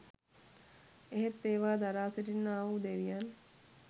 එහෙත් ඒවා දරා සිටින්නාවූ දෙවියන්